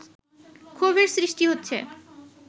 ক্ষোভের সৃষ্টি হচ্ছে